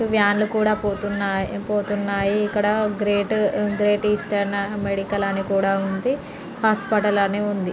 Van లు కూడా పోతున్నాయి. ఇక్కడ గ్రేట్ గ్రేట్ ఈస్టన్ మెడికల్ అని కూడా ఉంది . హాస్పిటల్ అని ఉంది.